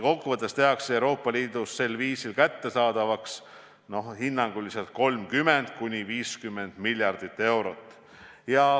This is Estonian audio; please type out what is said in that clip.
Kokkuvõttes tehakse Euroopa Liidus sel viisil kättesaadavaks hinnanguliselt 30–50 miljardit eurot.